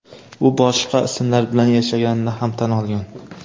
U boshqa ismlar bilan yashaganini ham tan olgan.